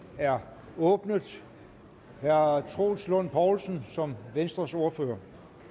er åbnet herre troels lund poulsen som venstres ordfører